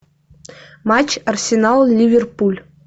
матч арсенал ливерпуль